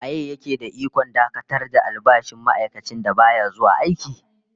Waye ya ke da ikon dakatar da albashin ma'aikacin da baya zuwa aiki?